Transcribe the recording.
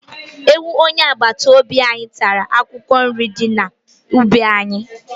Ewu onye agbata obi anyị tara akwụkwọ nrị dị n'ubi anyị.